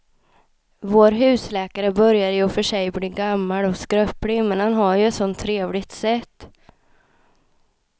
Vår husläkare börjar i och för sig bli gammal och skröplig, men han har ju ett sådant trevligt sätt!